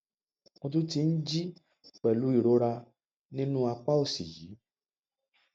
mo tún ti ń jí pẹlú ìrora nínú àpá òsì yìí